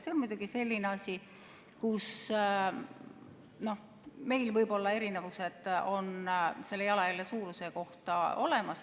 See on muidugi selline asi, kus meil võivad olla eriarvamused, selle jalajälje suuruse kohta.